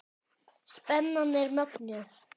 Spennan er mögnuð.